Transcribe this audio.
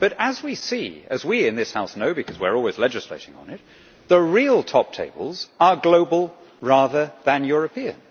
But, as we see, and as we in this House know because we are always legislating on it, the real top tables are global rather than European.